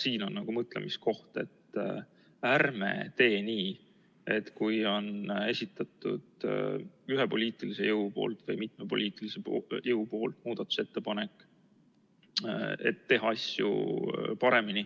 Siin on mõtlemiskoht, et ärme teeme nii, et kui üks poliitiline jõud või mitu poliitilist jõudu on esitanud muudatusettepaneku, kuidas teha asju paremini